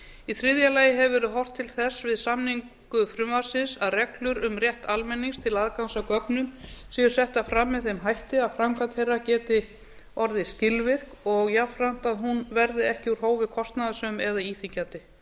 í þriðja lagi hefur verið horft til þess við samningu frumvarpsins að reglur um rétt almennings til aðgangs að gögnum séu settar fram með þeim hætti að framkvæmd þeirra geti orðið skilvirk og jafnframt að hún verði ekki úr hófi kostnaðarsöm eða íþyngjandi